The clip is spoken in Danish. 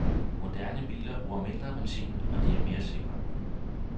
Moderne biler bruger mindre benzin, og de er mere sikre.